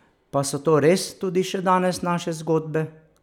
Pa so to res tudi še danes naše zgodbe?